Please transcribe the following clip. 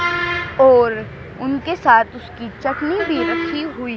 और उनके साथ उसकी चटनी भी रखी हुई--